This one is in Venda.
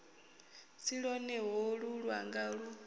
si lwone holu lwanga lu